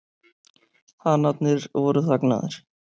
Hanarnir voru þagnaðir.